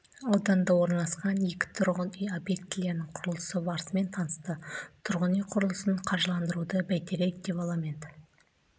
ауданында орналасқан екі тұрғын үй объектілерінің құрылысы барысымен танысты тұрғын үй құрылысын қаржыландыруды бәйтерек девелопмент